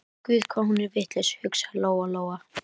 Guð hvað hún er vitlaus, hugsaði Lóa Lóa.